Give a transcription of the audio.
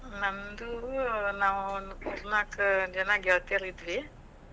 ನಮ್ದು ನಾವು ನಾಕ್ ಜನಾ ಗೆಳತ್ಯಾರಿದ್ವಿ.